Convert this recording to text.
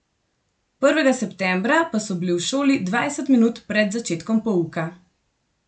Prvega septembra pa so bili v šoli dvajset minut pred začetkom pouka!